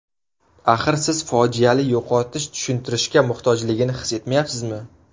Axir siz fojiali yo‘qotish tushuntirishga muhtojligini his etmayapsizmi?